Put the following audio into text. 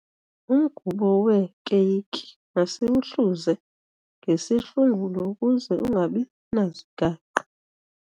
Umgubo weekeyiki masiwuhluze ngesihlungulo ukuze ungabi nazigaqa.